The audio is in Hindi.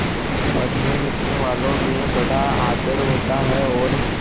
पढ़नेलिखनेवालों में बड़ा आदर होता है और